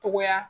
Togoya